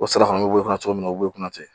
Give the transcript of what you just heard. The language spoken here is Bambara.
O sira fana bɛ bɔ cogo min na u bɛ kunnafoni